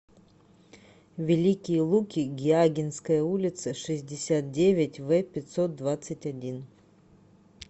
великие луки гиагинская улица шестьдесят девять в пятьсот двадцать один